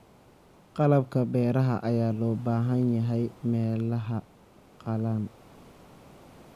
Qalabka beeraha ayaa loo baahan yahay meelaha qallalan.